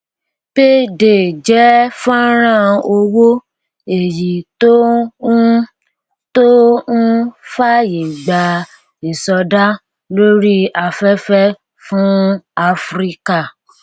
payday jẹ fọnrán owó èyí tó ń tó ń fàyè gba ìsọdá lórí afẹfẹ fún áfíríkà